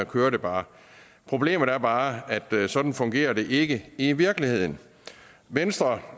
kører det bare problemet er bare at sådan fungerer det ikke i virkeligheden venstre